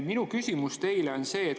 Minu küsimus teile on see.